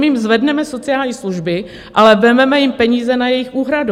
My jim zvedneme sociální služby, ale vezmeme jim peníze na jejich úhradu.